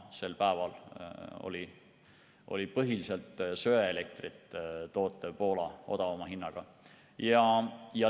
Sel päeval oli põhiliselt söeelektrit tootvas Poolas odavam hind.